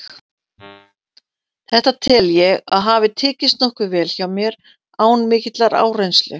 Þetta tel ég að hafi tekist nokkuð vel hjá mér, án mikillar áreynslu.